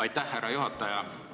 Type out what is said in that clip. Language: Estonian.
Aitäh, härra juhataja!